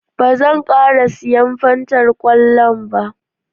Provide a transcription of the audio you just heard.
Ba zan ƙara siyan Fantar kwallon ba